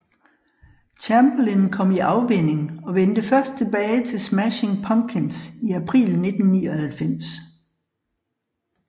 Chamberlin kom i afvænning og vendte først tilbage til Smashing Pumpkins i april 1999